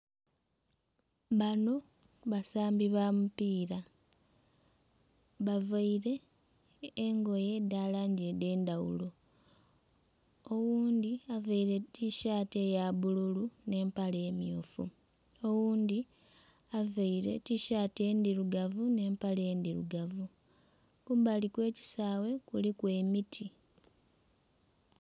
Banho basambi ba mupiira bavaire engoye edha langi edh'endhaghulo, oghundhi avaire tishaati eya bbululu nh'empale emmyufu, oghundhi availe tishaati endhirugavu nh'empale endhirugavu. Kumbali kw'ekisaawe kuliku emiti.